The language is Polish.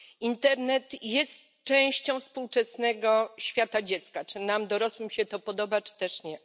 Internet jest częścią współczesnego świata dziecka, czy nam, dorosłym się to podoba czy też nie.